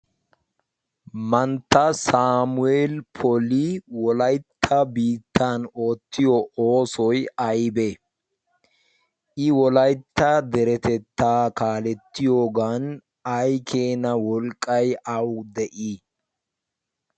mantta saamuweeli poli wolaytta biittan oottiyo oosoy aybee i wolaytta deretettaa kaalettiyoogan ay keena wolqqay awu de'ii?